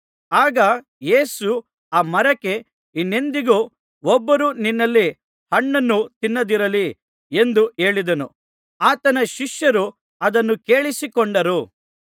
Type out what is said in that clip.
ಆಗ ಯೇಸು ಆ ಮರಕ್ಕೆ ಇನ್ನೆಂದಿಗೂ ಒಬ್ಬರೂ ನಿನ್ನಲ್ಲಿ ಹಣ್ಣನ್ನು ತಿನ್ನದಿರಲಿ ಎಂದು ಹೇಳಿದನು ಆತನ ಶಿಷ್ಯರು ಅದನ್ನು ಕೇಳಿಸಿಕೊಂಡರು